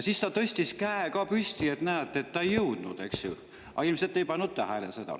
Siis ta tõstis käe ka püsti, et näete, et ta ei jõudnud, aga ilmselt te ei pannud seda tähele.